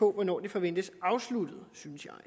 hvornår det forventes afsluttet synes jeg